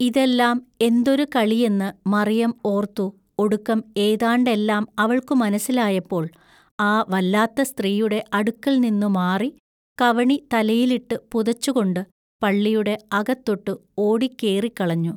ഇതെല്ലാം എന്തൊരു കളിയെന്നു മറിയം ഓൎത്തു ഒടുക്കം ഏതാണ്ടെല്ലാം അവൾക്കു മനസ്സിലായപ്പൊൾ ആ വല്ലാത്ത സ്ത്രീയുടെ അടുക്കൽനിന്നു മാറി കവണി തലയിലിട്ടു പുതച്ചുകൊണ്ടു പള്ളിയുടെ അകത്തൊട്ടു ഓടിക്കേറിക്കളഞ്ഞു.